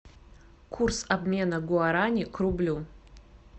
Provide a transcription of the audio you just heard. курс обмена гуарани к рублю